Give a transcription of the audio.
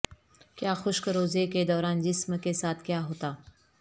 کیا خشک روزے کے دوران جسم کے ساتھ کیا ہوتا